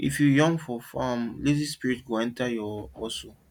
if you yawn for farm lazy spirit spirit go enter your hustle